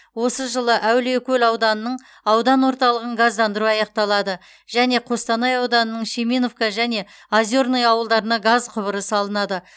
осы жылы әулиекөл ауданының аудан орталығын газдандыру аяқталады және қостанай ауданының шеминовка және озерное ауылдарына газ құбыры салынады